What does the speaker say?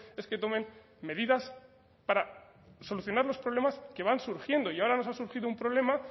es que tomen medidas para solucionar los problemas que van surgiendo y ahora nos ha surgido un problema